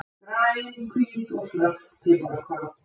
Græn, hvít og svört piparkorn.